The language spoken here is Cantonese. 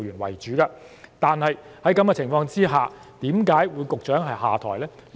在這種情況下，為何局長會下台呢？